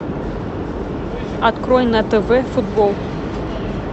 открой на тв футбол